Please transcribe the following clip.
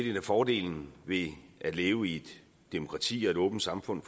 en af fordelene ved at leve i et demokrati og et åbent samfund